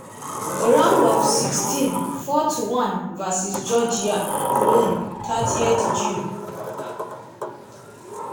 round of sixteen four to one versus georgia (cologne thirtieth june)